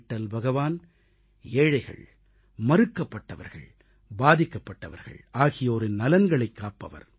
விட்டல் பகவான் ஏழைகள் மறுக்கப்பட்டவர்கள் பாதிக்கப்பட்டவர்கள் ஆகியோரின் நலன்களைக் காப்பவர்